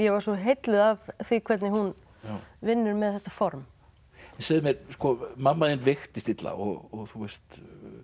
var svo heilluð af því hvernig hún vinnur með þetta form en segðu mér mamma þín veiktist illa og þú veist